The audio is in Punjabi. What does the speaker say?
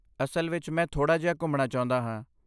ਅਸਲ ਵਿੱਚ, ਮੈਂ ਥੋੜਾ ਜਿਹਾ ਘੁੰਮਣਾ ਚਾਹੁੰਦਾ ਹਾਂ।